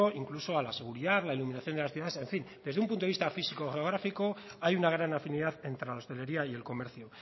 incluso a la seguridad la iluminación de las ciudades en fin desde un punto de vista físico geográfico hay una gran afinidad entre la hostelería y el comercio